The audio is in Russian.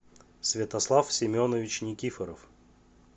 святослав семенович никифоров